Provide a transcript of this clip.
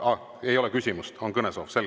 Aa, ei ole küsimust, on kõnesoov?